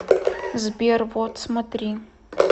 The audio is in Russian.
сбер вот смотри